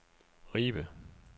Ribe